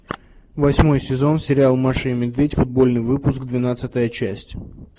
восьмой сезон сериал маша и медведь футбольный выпуск двенадцатая часть